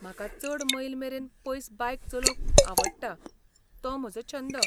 म्हाका चड मैल मेरेन पयस बायक चलोवंक आवडटा, तो म्हजो छंद.